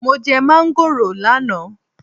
Mo jẹ máángòrò lánàá